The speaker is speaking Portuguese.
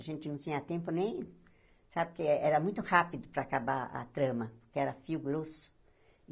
A gente não tinha tempo nem, sabe, porque era muito rápido para acabar a trama, porque era fio grosso.